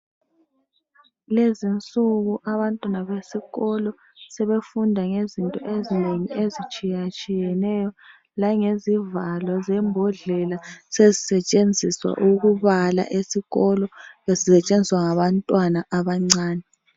Lezinsuku abantwana besikolo sebefunda ngezinto ezinengi ezitshiya tshiyeneyo langezivalo zembodlela sezisetshenziswa ukubala esikolo zisetshenziswa ngabantwana abancane.